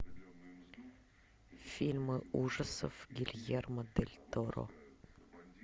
фильмы ужасов гильермо дель торо